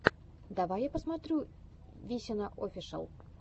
давай я посмотрю висина офишел